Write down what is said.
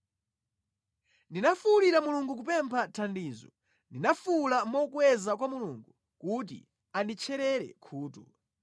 Ndinafuwulira Mulungu kupempha thandizo; ndinafuwula mokweza kwa Mulungu kuti anditcherere khutu.